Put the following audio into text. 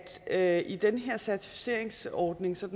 at i den her certificeringsordning som